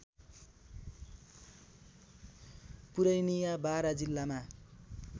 पुरैनीया बारा जिल्लामा